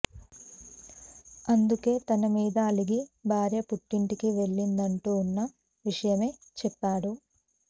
అందుకే తన మీద అలిగి భార్య పుట్టింటికి వెళ్ళిందంటూ ఉన్న విషయమే చెప్పాడు